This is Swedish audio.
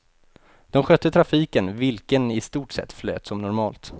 De skötte trafiken, vilken i stort sett flöt som normalt.